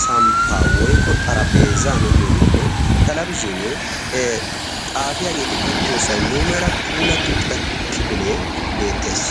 samppa woikko xarapheezanu giyoogeenne talabisinee xaafiyaageeti uttiyoosay muumera pulatti uttida kifilee beettees.